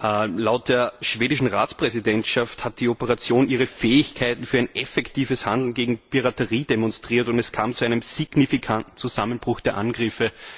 Laut der schwedischen Ratspräsidentschaft hat die Operation ihre Fähigkeit für ein effektives Handeln gegen die Piraterie demonstriert, und es kam zu einem signifikanten Zusammenbruch der Angriffe.